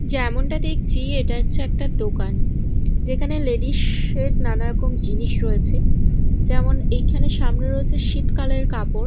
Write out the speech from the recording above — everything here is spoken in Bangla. যেমনটা দেখছি এটা হচ্ছে দোকান যেখানে লেডিস -এর নানা রকম জিনিস রয়েছে যেমন এখানে সামনে রয়েছে শীতকালের কাপড়।